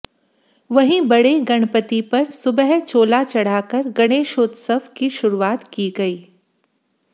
वहीं बड़े गणपति पर सुबह चोला चढ़ाकर गणेशोत्सव की शुरुआत की गई